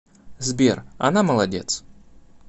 сбер она молодец